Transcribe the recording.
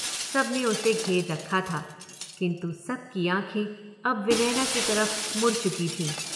सबने उसे घेर रखा था, किन्तु सबकी आंखें अब विनयना की तरफ मुड़ चुकी थीं।